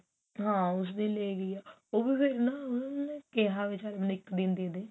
ਹਾਂ ਉਸ ਵੇਲੇ ਵੀ ਇਹ ਹੈ ਉਹ ਵੀ ਫ਼ੇਰ ਨਾ ਉਹਨਾਂ ਨੇ ਕਿਹਾ ਚਲ ਮੈਨੂੰ ਇੱਕ ਦਿਨ ਦੇਦੇ